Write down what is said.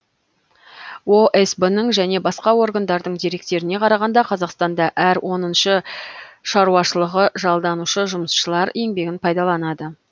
осб ның және басқа органдардың деректеріне қарағанда қазақстанда әр оныншы шаруашылығы жалданушы жұмысшылар еңбегін пайдаланды